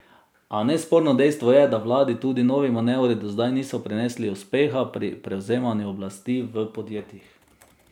A nesporno dejstvo je, da vladi tudi novi manevri do zdaj niso prinesli uspeha pri prevzemanju oblasti v podjetjih.